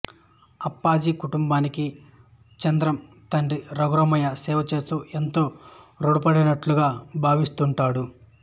అప్పాజీ కుటుంబానికి చంద్రం తండ్రి రఘురామయ్య సేవచేస్తూ ఎంతో ఋణపడినట్లుగా భావిస్తుంటాడు